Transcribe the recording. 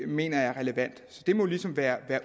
mener jeg er relevant så det må ligesom være